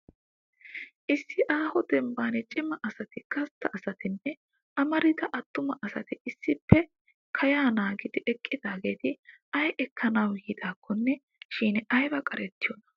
Issi aaho demban cima asati, gastta asatinne amarida attuma asati issippe kayaa naagidi eqqidaageeti ay ekkanawu yiidakkonne shin ayiba qarettiyonaa!